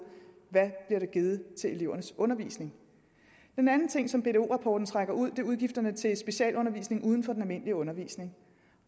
at givet til elevernes undervisning den anden ting som bdo rapporten trækker ud er udgifterne til specialundervisning uden for den almindelige undervisning